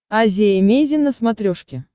азия эмейзин на смотрешке